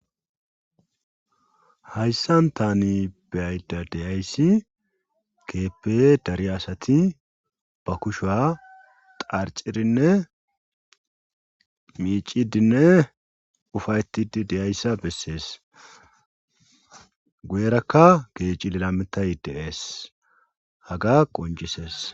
Hayssan tani beyayda deyayssi keeppe dari asati ba kushuwa xarcirinne miicidinne ufaytidi deyayssa bessees guyerakka kehi cililametay deees haga qoncisees.